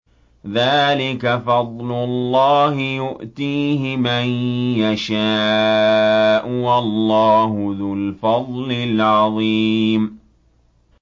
ذَٰلِكَ فَضْلُ اللَّهِ يُؤْتِيهِ مَن يَشَاءُ ۚ وَاللَّهُ ذُو الْفَضْلِ الْعَظِيمِ